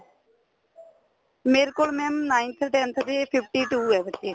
ਮੇਰੇ ਕੋਲ mam ninth tenth ਦੇ fifty two ਏ ਬੱਚੇ